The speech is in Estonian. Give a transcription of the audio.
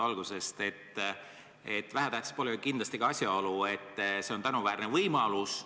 Aga vähetähtis pole ju kindlasti ka asjaolu, et elektrooniline koosolek on tänuväärne võimalus.